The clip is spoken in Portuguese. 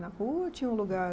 Na rua ou tinha um lugar?